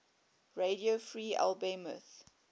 radio free albemuth